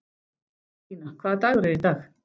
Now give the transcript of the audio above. Stína, hvaða dagur er í dag?